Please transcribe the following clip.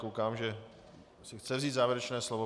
Koukám, že si chce vzít závěrečné slovo.